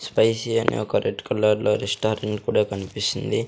Spicy అని ఒక red కలర్లో రెస్టారెంట్ కూడా కన్పిస్తుంది.